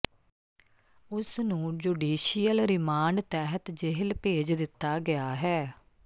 ਉਸ ਨੂੰ judicial remand ਤਹਿਤ ਜੇਲ੍ਹ ਭੇਜ ਦਿੱਤਾ ਗਿਆ ਹੈ